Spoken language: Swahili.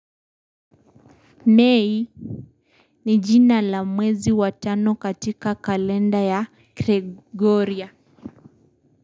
Mei ni jina la mwezi wa tano katika kalenda ya gregoria.